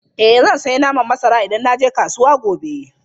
Eh zan sayi naman masara idan na je kasuwa gobe.